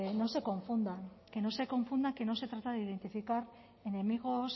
no se confundan que no se confunda que no se trata de identificar enemigos